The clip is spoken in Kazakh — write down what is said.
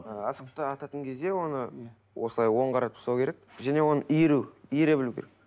ы асықты ататын кезде оны иә осылай оң қаратып ұстау керек және оны иіру иіре білу керек